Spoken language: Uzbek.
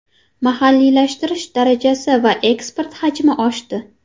Mahalliylashtirish darajasi va eksport hajmi oshdi.